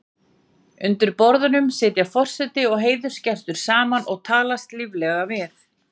Undir borðum sitja forseti og heiðursgestur saman og talast líflega við.